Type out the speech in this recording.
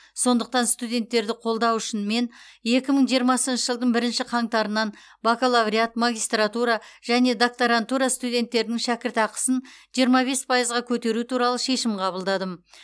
сондықтан студенттерді қолдау үшін мен екі мың жиырмасыншы жылдың бірінші қаңтарынан бакалавриат магистратура және докторантура студенттерінің шәкіртақысын жиырма бес пайызға көтеру туралы шешім қабылдадым